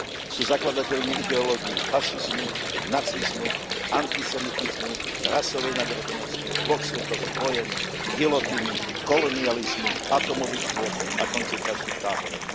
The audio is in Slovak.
Sú zakladateľmi ideológií fašizmu, nacizmu, antisemitizmu, rasovej nadradenosti, dvoch svetových vojen, gilotíny, kolonializmu, atómových bômb a koncentračných táborov.